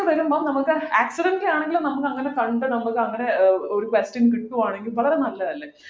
വരുമ്പോ നമുക്ക് accedentlly ആണെങ്കിലും നമുക്കങ്ങനെ കണ്ടു നമുക്കങ്ങനെ ഒരു question കിട്ടുവാണെങ്കിൽ വളരെ നല്ലതല്ലേ